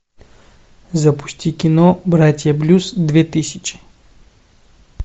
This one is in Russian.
запусти кино братья блюз две тысячи